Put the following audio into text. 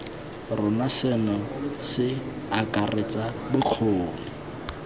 rona seno se akaretsa bokgoni